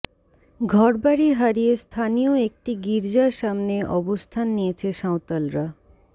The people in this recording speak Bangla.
ঘরবাড়ি হারিয়ে স্থানীয় একটি গির্জার সামনে অবস্থান নিয়েছে সাঁওতালরা